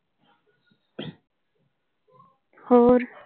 ਹੋਰ।